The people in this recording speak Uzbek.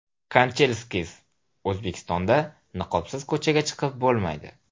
Kanchelskis: O‘zbekistonda niqobsiz ko‘chaga chiqib bo‘lmaydi.